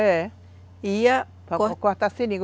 É. Ia... Para para cortar seringa.